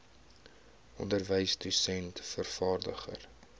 onderwyser dosent vervaardiger